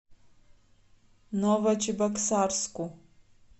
новочебоксарску